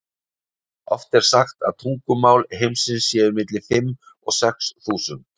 oft er sagt að tungumál heims séu milli fimm og sex þúsund